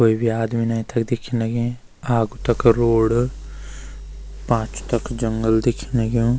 कोई भी आदमी नई तख दिखेंण लगीं आग तख रोड पाछ तख जंगल दिखेंण लग्युं।